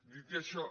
dit això